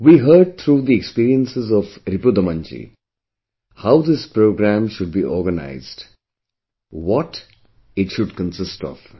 We heard through the experiences of Ripudaman Ji, how this programme should be organised; what it should consist of